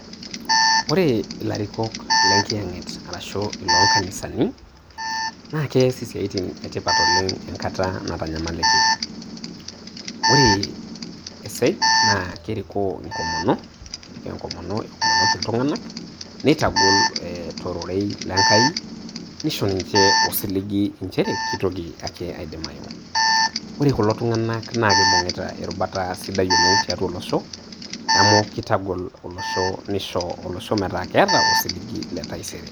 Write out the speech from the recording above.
Ore ilarikok lenkiyang'et arashuu iloonkanisani naa keas isiatin etipat oleng enkata natanyamaliki, ore esej naa kerikoo enkomono eomonoki iltunganak neitagol tororei lenkai nisho ninche osiligi inchere keitoki ake aidimayu ,ore kulo tung'anak naa keibung'ita erubata sapuk oleng tiatua olosho amu keitagol olosho neisho olosho metaa keeta osiligi letaisere